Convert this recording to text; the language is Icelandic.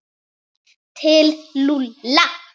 Til Lúlla?